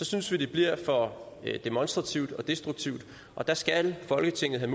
synes det bliver for demonstrativt og destruktivt og der skal folketinget